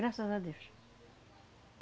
Graças a Deus.